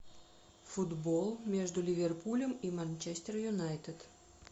футбол между ливерпулем и манчестер юнайтед